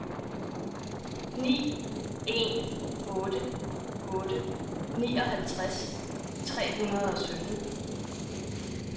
ni en otte otte nioghalvtreds tre hundrede og sytten